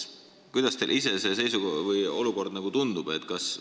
Kuidas teile endale see olukord tundub?